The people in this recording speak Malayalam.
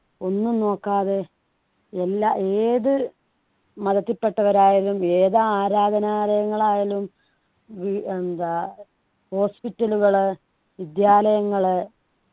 ഒന്നും നോക്കാതെ എല്ലാ ഏതു മതത്തിൽ പെട്ടവരായാലും ഏത് ആരാധനയങ്ങൾ ആയാലും വീ എന്താ hospital കള് വിദ്യാലയങ്ങള്